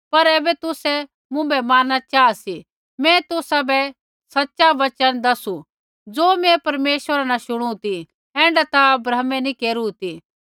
पर ऐबै तुसै मुँभै मारणा चाहा सी मैं तुसाबै सच़ा वचन दसु ज़ो मैं परमेश्वरा न शुणु ती ऐण्ढा ता अब्राहमै नी केरू ती